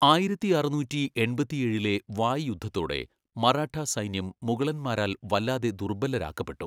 ആയിരത്തിഅറുന്നൂറ്റിഎൺപത്തിഏഴിലെ വായ് യുദ്ധത്തോടെ മറാഠാ സൈന്യം മുഗളന്മാരാൽ വല്ലാതെ ദുർബലരാക്കപ്പെട്ടു.